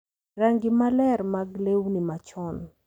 Rangi maler mag lewni machon,